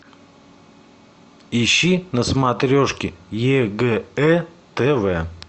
ищи на смотрешке егэ тв